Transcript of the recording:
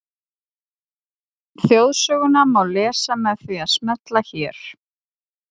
Þjóðsöguna má lesa með því að smella hér.